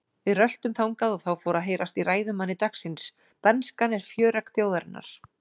Við röltum þangað og þá fór að heyrast í ræðumanni dagsins: Bernskan er fjöregg þjóðarinnar.